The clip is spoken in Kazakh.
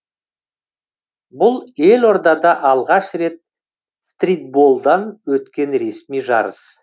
бұл елордада алғаш рет стритболдан өткен ресми жарыс